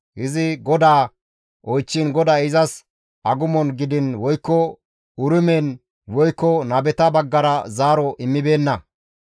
Izi GODAA oychchiin GODAY izas agumon gidiin woykko Urimen woykko nabeta baggara zaaro immibeenna.